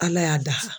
Ala y'a dafa